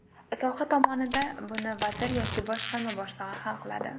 Soha tomonida buni vazir yoki boshqarma boshlig‘i hal qiladi.